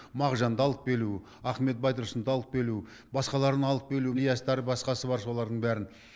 мағжанды алып келу ахмет байтұрсұнды алып келу басқаларын алып келу ілиястар басқасы бар солардың бәрін